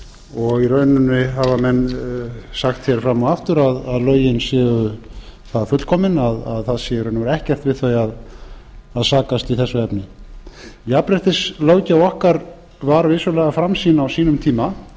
og i rauninni hafa menn sagt fram og aftur að lögin séu það fullkomin að það sé í raun og veru ekkert við þau að sakast í þessu efni jafnréttislöggjöf okkar var vissulega framsýn á sínum tíma